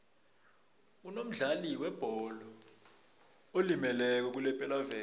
kunomdlali webholo olimeleko kulepelaveke